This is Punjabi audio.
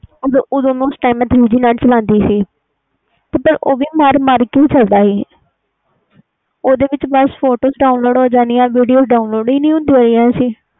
ਓਦੋ ਮੈਂ ਉਸ time three G net ਚਲਦੀ ਸੀ ਉਹ ਵੀ ਮਰ ਮਰ ਕੇ ਚਲਦਾ ਸੀ ਓਹਦੇ ਵਿਚ ਫੋਟੋ download ਹੋ ਜਾਣਿਆ video download ਨਹੀਂ ਹੁੰਦੀਆਂ ਸੀ